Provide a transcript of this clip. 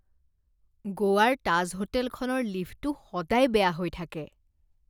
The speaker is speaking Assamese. গোৱাৰ তাজ হোটেলখনৰ লিফ্টটো সদায় বেয়া হৈ থাকে।